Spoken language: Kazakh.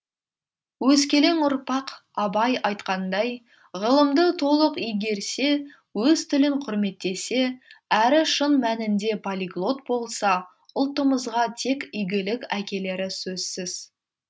өскелең ұрпақ абай айтқандай ғылымды толық игерсе өз тілін құрметтесе әрі шын мәнінде полиглот болса ұлтымызға тек игілік әкелері сөзсіз